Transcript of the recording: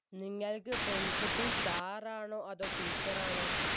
നിങ്ങൾക്ക് principal sir ആണോ അതോ teacher ആണോ